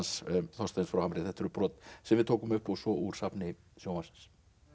Þorsteins frá Hamri þetta eru brot sem við tókum upp og svo úr safni sjónvarpsins